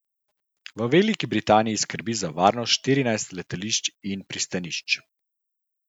V Veliki Britaniji skrbi za varnost štirinajstih letališč in pristanišč.